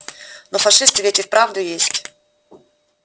но фашисты ведь и вправду есть